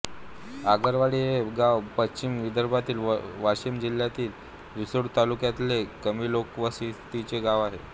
आगरवाडी हे गांव पश्चिम विदर्भातील वाशीम जिल्ह्यातील रिसोड तालुक्यातले कमी लोकवस्तीचे गांव आहे